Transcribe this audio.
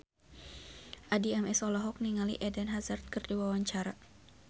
Addie MS olohok ningali Eden Hazard keur diwawancara